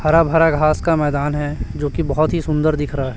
हरा भरा घास का मैदान है जो कि बहोत ही सुंदर दिख रहा है।